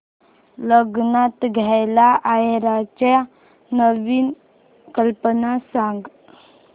लग्नात द्यायला आहेराच्या नवीन कल्पना सांग